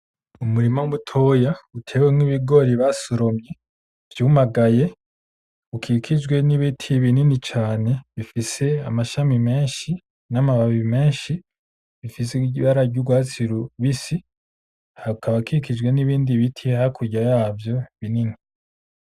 Umurima mutoya uteruwemwo ibigori basoromye vyumagaye , ukikijwe n'ibiti binini cane bifise amashami menshi n'amababi menshi, bifise ibara ry'urwatsi rubisi , hakaba hakikijwe n'ibindi biti hakurya yavyo binini .